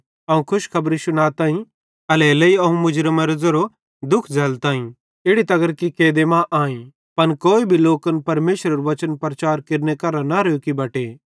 अवं खुशखबरी शुनाताईं एल्हेरेलेइ अवं मुजरामेरो ज़ेरो दुःख झ़ैल्लताई इड़ी तगर कि कैदे मां आईं पन कोई भी लोकन परमेशरेरू वचन प्रचार केरने करां न रोकी बटे